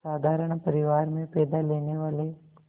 साधारण परिवार में पैदा लेने वाले